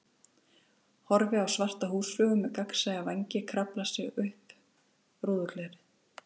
Horfi á svarta húsflugu með gagnsæja vængi krafla sig upp rúðuglerið.